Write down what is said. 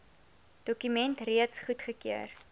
dokument reeds goedgekeur